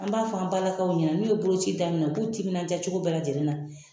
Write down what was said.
An b'a fɔ an balakaw ɲɛna n'u ye boloci daminɛ u k'u timinadiya cogo bɛɛ lajɛlen na